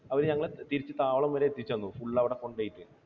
അവർ ഞങ്ങളെ തിരിച്ചു താവളം വരെ എത്തിച്ചു തന്നു full അവിടെ കൊണ്ടുപോയിട്ട്